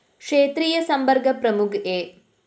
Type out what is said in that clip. ക്ഷേത്രീയ സമ്പര്‍ക്ക പ്രമുഖ് എ